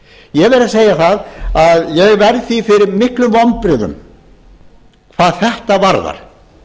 ég verð að segja að ég verð því fyrir miklum vonbrigðum hvað þetta varðar